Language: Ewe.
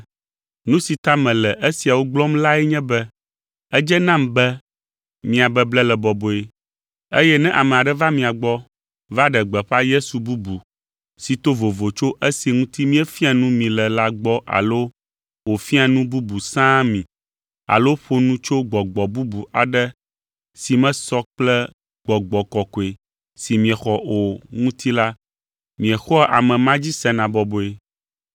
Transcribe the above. Nu si ta mele esiawo gblɔm lae nye be edze nam be mia beble le bɔbɔe, eye ne ame aɖe va mia gbɔ va ɖe gbeƒã Yesu bubu si to vovo tso esi ŋuti míefia nu mi le la gbɔ alo wòfia nu bubu sãa mi alo ƒo nu tso gbɔgbɔ bubu aɖe si mesɔ kple Gbɔgbɔ Kɔkɔe si miexɔ o ŋuti la, miexɔa ame ma dzi sena bɔbɔe.